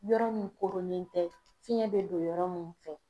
Yɔrɔ min koronnen tɛ fiɲɛ be don yɔrɔ min fɛ